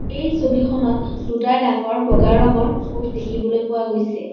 এই ছবিখনত দুটা ডাঙৰ বগা ৰঙৰ প'ষ্ট দেখিবলৈ পোৱা গৈছে।